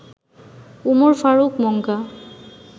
Umar Farooq মঙ্গা